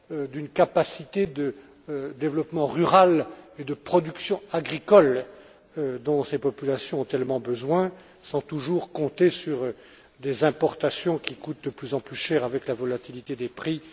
d'une capacité de développement rural et de production agricole dont ces populations ont tellement besoin, sans toujours compter sur des importations qui coûtent de plus en plus cher en raison de la volatilité des prix.